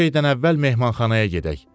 Hər şeydən əvvəl mehmanxanaya gedək.